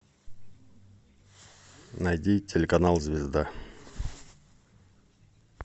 найди телеканал звезда